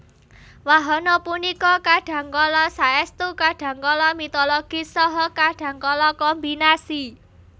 Wahana punika kadhangkala saéstu kadhangkala mitologis saha kadhangkala kombinasi